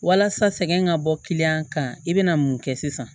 Walasa sɛgɛn ka bɔ kiliyan kan i bɛna mun kɛ sisan